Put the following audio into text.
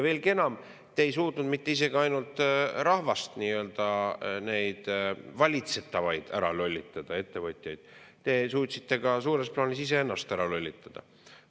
Veelgi enam, te ei suutnud mitte ainult rahvast, neid valitsetavaid, ära lollitada, ettevõtjaid, te suutsite suures plaanis iseennast ära lollitada.